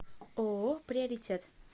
ооо приоритет